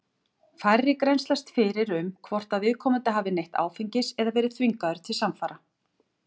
Færri grennslast fyrir um hvort að viðkomandi hafi neytt áfengis eða verið þvingaður til samfara.